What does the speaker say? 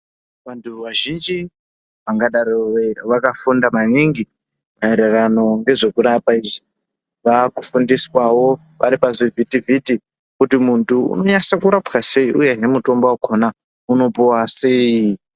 Vantu vazhinji vangadero vakafunda maningi maererano ngezvekurapa izvi vakufundiswawo varipa zvivhiti vhiti kuti muntu unonyase kurapwa sei uyenemutombo wakona unopuwa cy